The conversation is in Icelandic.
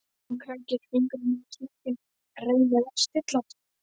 Hún krækir fingrum í smekkinn, reynir að stilla sig.